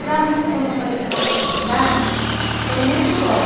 Para mim, quando apareceu essa oportunidade, foi muito bom.